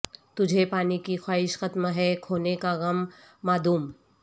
تجھے پانے کی خواہش ختم ہے کھونے کا غم معدوم